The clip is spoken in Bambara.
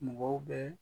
Mɔgɔw bɛ